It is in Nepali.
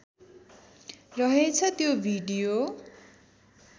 रहेछ त्यो भिडियो